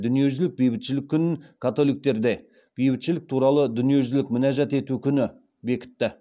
дүниежүзілік бейбітшілік күнін бекітті